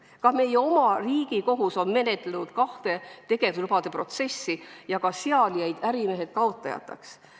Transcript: Ka meie oma Riigikohus on menetlenud kahte tegevuslubade protsessi ja sealgi jäid ärimehed kaotajateks.